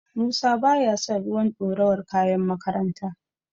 Musa baya son ruwan dorawar kayan makaranta.